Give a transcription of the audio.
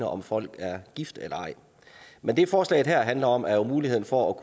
om folk er gift eller ej men det forslaget her handler om er muligheden for